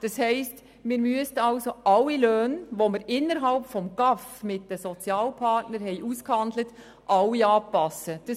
Das bedeutet, dass man alle Löhne, die man innerhalb des GAV zwischen den Sozialpartnern ausgehandelt hat, anpassen müsste.